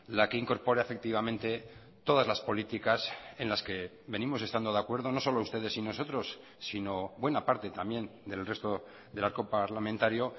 la que incorpore efectivamente todas las políticas en las que venimos estando de acuerdo no solo ustedes y nosotros sino buena parte también del resto del arco parlamentario